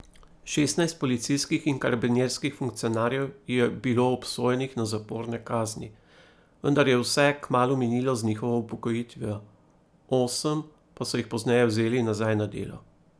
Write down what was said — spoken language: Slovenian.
Šestnajst policijskih in karabinjerskih funkcionarjev je bilo obsojenih na zaporne kazni, vendar je vse kmalu minilo z njihovo upokojitvijo, osem pa so jih pozneje vzeli nazaj na delo.